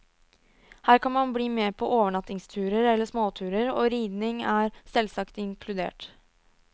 Her kan man bli med på overnattingsturer eller småturer, og ridning er selvsagt inkludert.